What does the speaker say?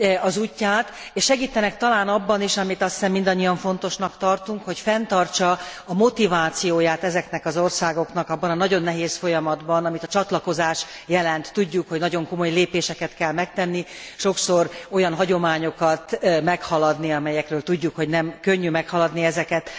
az útját, és segítenek talán abban is, amit azt hiszem, mindannyian fontosnak tartunk, hogy fenntartsa a motivációját ezeknek az országoknak abban a nagyon nehéz folyamatban, amit a csatlakozás jelent. Tudjuk, hogy nagyon komoly lépéseket kell megtenni, sokszor olyan hagyományokat meghaladni, amelyekről tudjuk, hogy nem könnyű meghaladni ezeket.